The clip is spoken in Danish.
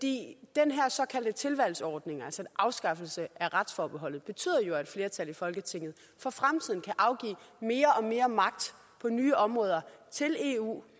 den her såkaldte tilvalgsordning altså en afskaffelse af retsforbeholdet betyder jo at et flertal i folketinget for fremtiden kan afgive mere og mere magt på nye områder til eu